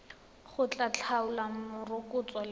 go tla tlhola morokotso le